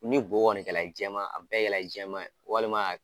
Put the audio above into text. Ni bo kɔni kɛla jɛman a bɛɛ kɛla jɛman ye walima a